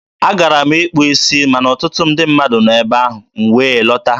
a gara m ịkpụ isi ma na ọtụtụ ndị mmadụ nọ n'ebe ahụ, m wee lọta.